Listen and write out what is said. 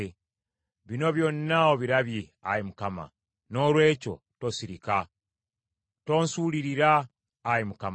Bino byonna obirabye, Ayi Mukama . Noolwekyo tosirika. Tonsuulirira, Ayi Mukama.